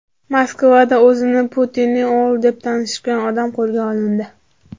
Moskvada o‘zini Putinning o‘g‘li deb tanishtirgan odam qo‘lga olindi.